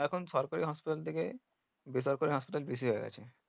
এখন সরকারি হাসপাতাল থেকে বেসরকারি হাসপাতাল বেশি হয়ে গেছে